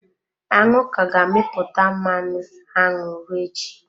Aṅụ ka ga-amịpụta mmanụ aṅụ ruo echi.